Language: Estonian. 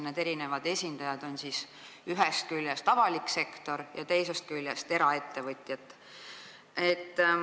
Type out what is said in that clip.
Need esindajad on ühest küljest avalik sektor ja teisest küljest eraettevõtjad.